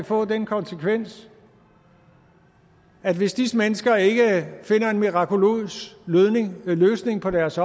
få den konsekvens at hvis disse mennesker hundrede ikke finder en mirakuløs løsning på deres